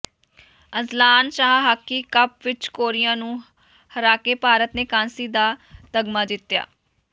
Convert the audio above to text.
Azlan Shah hockey cup ਵਿੱਚ Korea ਨੂੰ ਹਰਾਕੇ ਭਾਰਤ ਨੇ ਕਾਂਸੀ ਦਾ ਤਮਗਾ ਜਿੱਤਿਆ